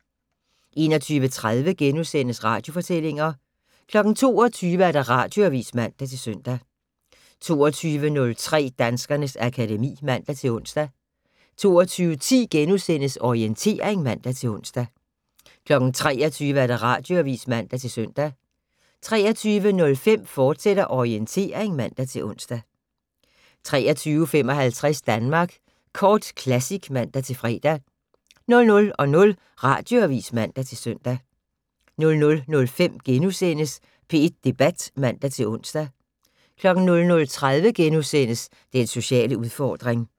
21:30: Radiofortællinger * 22:00: Radioavis (man-søn) 22:03: Danskernes akademi (man-ons) 22:10: Orientering *(man-ons) 23:00: Radioavis (man-søn) 23:05: Orientering, fortsat (man-ons) 23:55: Danmark Kort Classic (man-fre) 00:00: Radioavis (man-søn) 00:05: P1 Debat *(man-ons) 00:30: Den sociale udfordring *